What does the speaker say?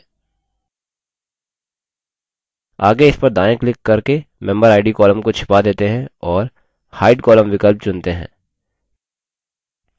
आगे इस पर दायाँ क्लिक करके memberid column को छिपा देते हैं और hide column विकल्प चुनते हैं